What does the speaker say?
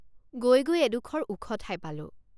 গৈ গৈ এডোখৰ ওখ ঠাই পালোঁ।